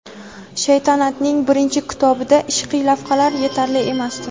"Shaytanat"ning birinchi kitobida ishqiy lavhalar yetarli emasdi.